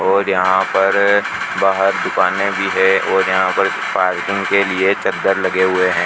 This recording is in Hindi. और यहां पर बाहर दुकाने भी है और यहां पर पार्किंग के लिए चद्दर लगे हुए हैं।